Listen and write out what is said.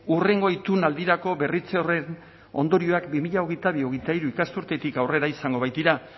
hurrengo itun aldirako berritze horren ondorioak bi mila hogeita bi hogeita hiru ikasturtetik aurrera izango baitira